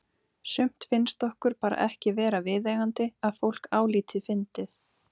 Sumt finnst okkur bara ekki vera viðeigandi að fólk álíti fyndið.